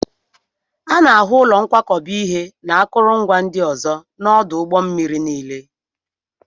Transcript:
A na-ahụ ụlọ nkwakọba ihe na akụrụngwa ndị ọzọ n'ọdụ ụgbọ mmiri niile